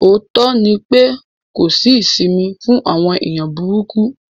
Òótọ́ ni pé kò sí isìmì fún àwọn èèyàn búrúkú.